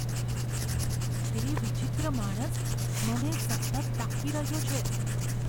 તે વિચિત્ર માણસ મને સતત તાકી રહ્યો છે.